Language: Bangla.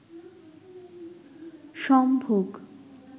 সম্ভোগ